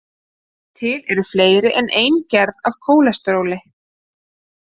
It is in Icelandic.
Til eru fleiri en ein gerð af kólesteróli.